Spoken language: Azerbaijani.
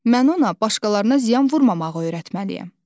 Mən ona başqalarına ziyan vurmamağı öyrətməliyəm.